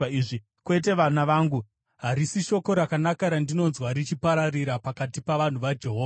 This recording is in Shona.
Kwete, vana vangu; harisi shoko rakanaka randinonzwa richipararira pakati pavanhu vaJehovha.